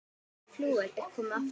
Flauel er komið aftur.